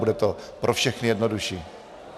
Bude to pro všechny jednodušší.